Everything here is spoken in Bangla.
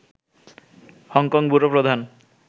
হংকং ব্যুরো প্রধান